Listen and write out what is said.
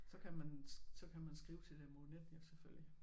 Så kan man så kan man skrive til dem over nettet selvfølgelig